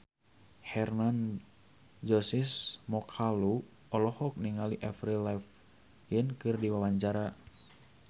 Hermann Josis Mokalu olohok ningali Avril Lavigne keur diwawancara